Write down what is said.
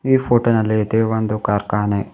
ಈ ಫೋಟೋ ನಲ್ಲೆತೆ ಒಂದು ಕಾರ್ಖಾನೆ.